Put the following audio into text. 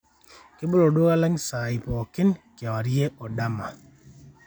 kebolo olduka lang saai pooki kewarie o dama